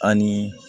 Ani